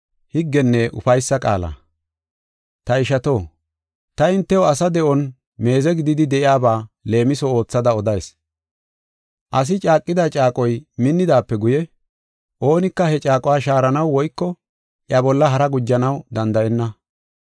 Ta ishato, ta hintew asa de7on meeze gididi de7iyaba leemiso oothada odayis. Asi caaqida caaqoy minnidaape guye, oonika he caaquwa shaaranaw woyko iya bolla haraa gujanaw danda7enna.